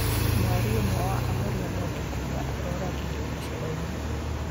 Mwaria ũmwe wa ahoria mwaki kuga aroragirwo gacĩra-inĩ.